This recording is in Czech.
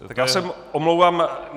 Tak já se omlouvám.